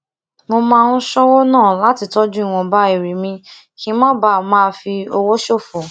mo máa ń ṣówó ná lati toju iwonba ere mi kí n má bàa máa fi owó ṣòfò